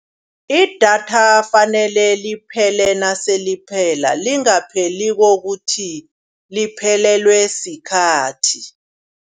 Idatha fanele liphele naseliphela, lingapheli kokuthi liphelelwe sikhathi.